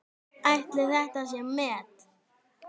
Ætli þetta sé met?